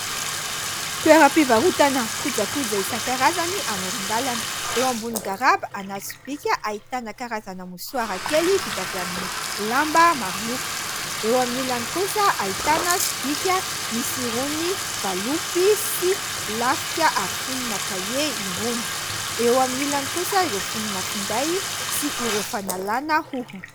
Toeram-pivarotana kojako izay isankarazany amoron-dalana eo ambony garaba ana sobika ahitana karazana mosoara kely vita avy amin'ny lamba marloko eo amin'ilolan'ny kosa hahitana sobika misiroany valopy sy lafika ary fonina kahe iroany eo amin'n'ilonany kosa ireo fonina finday sy ireo fanalàna hoho